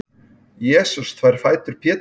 jesús þvær fætur péturs